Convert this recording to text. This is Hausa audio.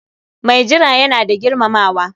Mai jira yana da girmamawa.